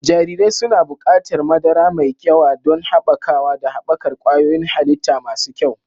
Jarirai suna buƙatar madara mai yawa don haɓakawa da haɓakar ƙwayoyin halitta masu kyau.